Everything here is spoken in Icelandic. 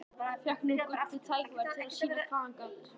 Fékk nú gullið tækifæri til að sýna hvað hann gat.